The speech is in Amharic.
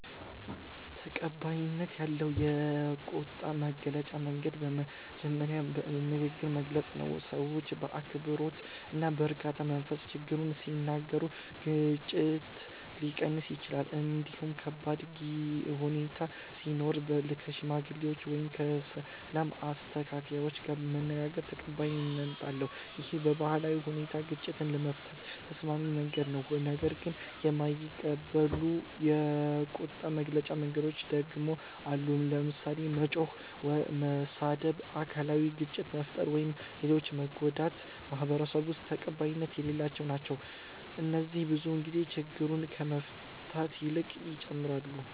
ተቀባይነት ያለው የቁጣ መግለጫ መንገድ በመጀመሪያ በንግግር መግለጽ ነው። ሰው በአክብሮት እና በረጋ መንፈስ ችግሩን ሲናገር ግጭት ሊቀንስ ይችላል። እንዲሁም ከባድ ሁኔታ ሲኖር ከሽማግሌዎች ወይም ከሰላም አስተካካዮች ጋር መነጋገር ተቀባይነት አለው። ይህ በባህላዊ ሁኔታ ግጭትን ለመፍታት ተስማሚ መንገድ ነው። ነገር ግን የማይቀበሉ የቁጣ መግለጫ መንገዶች ደግሞ አሉ። ለምሳሌ መጮህ፣ መሳደብ፣ አካላዊ ግጭት መፍጠር ወይም ሌሎችን መጎዳት በማህበረሰቡ ውስጥ ተቀባይነት የሌላቸው ናቸው። እነዚህ ብዙ ጊዜ ችግሩን ከመፍታት ይልቅ ይጨምራሉ